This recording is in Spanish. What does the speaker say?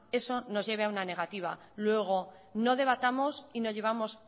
eso nos lleve a una negativa luego no debatamos y no llevemos